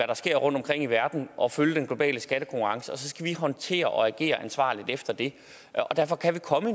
der sker rundtomkring i verden og følge den globale skattekonkurrence og så skal vi håndtere og agere ansvarligt efter det derfor kan vi komme